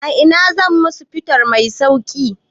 A ina zan samu fetur mai sauki?